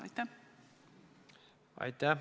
Aitäh!